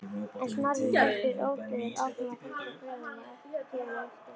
En Snorri heldur ótrauður áfram að fylgja gjöfinni eftir.